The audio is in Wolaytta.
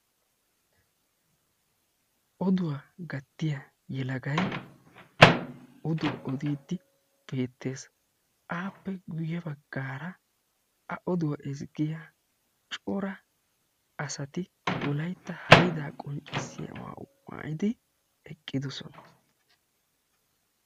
Oduwa gattiya yelegay odo ododdi beettees; appe guyye baggara cora asati Wolaytta haydda qonccissiyaa maayuwa maayyidi eqqidoosona.